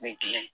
Ne gilan